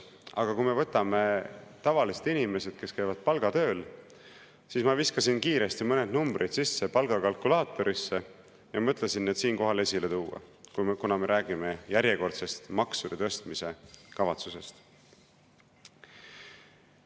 Aga kui me võtame tavalised inimesed, kes käivad palgatööl, siis ma viskasin kiiresti mõned numbrid palgakalkulaatorisse sisse ja mõtlesin need siinkohal esile tuua, kuna me räägime järjekordsest maksude tõstmise kavatsusest.